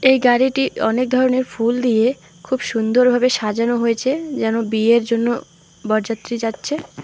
এই গাড়িটি অনেক ধরনের ফুল দিয়ে খুব সুন্দর ভাবে সাজানো হয়েছে যেন বিয়ের জন্য বরযাত্রী যাচ্ছে।